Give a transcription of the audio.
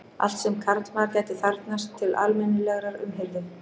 Allt sem karlmaður gæti þarfnast til almennilegrar umhirðu.